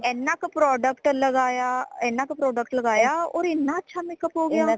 ਏਨਾ ਕ product ਲਗਾਇਆ ਏਨਾ ਕ product ਲਗਾਇਆ ਓਰ ਏਨਾ ਅੱਛਾ makeup ਹੋ ਗਿਆ